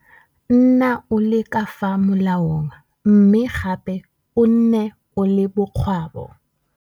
Nna o le ka fa molaong mme gape o nne o le bokgwabo.